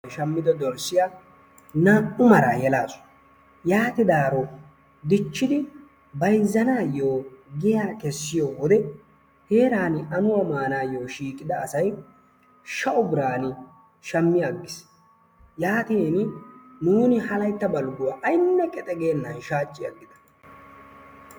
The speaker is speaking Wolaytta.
Shammido dorssiyaa yeelasu. yaatidaaro dichchidi bayzzanayoo giyaa keessiyoo wode heerani amuwaa manayoo shiiqida asay shaa"u biiran shaammi agiis. Yaatin nuuni ha laytta balgguwaa aynne qexe geennan shaacci agida.